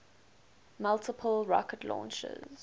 multiple rocket launchers